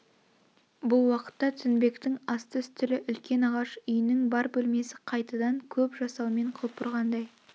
бұл уақытта тінбектің асты-үстілі үлкен ағаш үйнің бар бөлмесі қайтадан көп жасаумен құлпырғандай